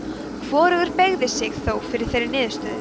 hvorugur beygði sig þó fyrir þeirri niðurstöðu